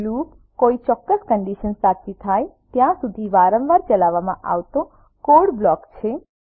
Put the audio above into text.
loop કોઈ ચોક્કસ condition સાચી થાય ત્યાં સુધી વારંવાર ચલાવવામાં આવતો કોડ બ્લોક છે